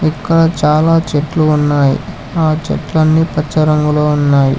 ఇక్కడ చాలా చెట్లు ఉన్నాయి ఆ చెట్లన్నీ ప్రచారంలో ఉన్నాయి.